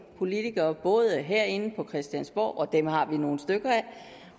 politikere både herinde på christiansborg og dem har vi nogle stykker af